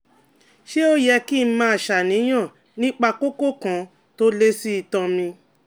Ṣé ó yẹ kí n máa ṣàníyàn nípa kókó kan tó lé sí itan mi?